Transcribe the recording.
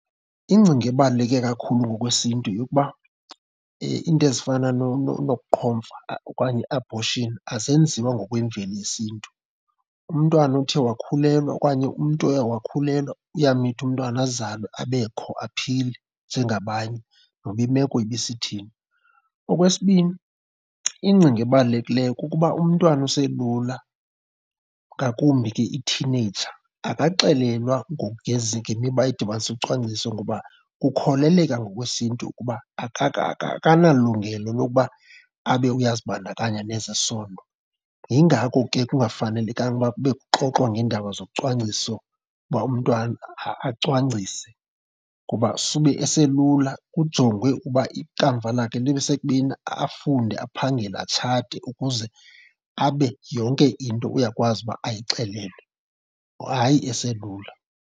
Ingcinga ebaluleke kakhulu ngokwesiNtu yeyokuba iinto ezifana nokuqhomfa okanye i-abortion azenziwa ngokwemveli yesiNtu. Umntwana othe wakhulelwa okanye umntu oye wakhulelwa uyamitha umntwana azalwe, abekho, aphile njengabanye noba imeko ibisithini. Okwesibini, ingcinga ebalulekileyo kukuba umntwana oselula ngakumbi ke ithineyija akaxelelwa ngemiba edibanise ucwangciso ngoba kukholeleka ngokwesiNtu ukuba akanalungelo lokuba abe uyazibandakanya nezesondo. Yingako ke kungafanelekanga ukuba kube kuxoxwa ngeendaba zocwangciso uba umntwana acwangcise kuba sube eselula kujongwe ukuba ikamva lakhe libe sekubeni afunde, aphangele, atshate ukuze abe yonke into uyakwazi uba ayixelelwe, hayi aselula.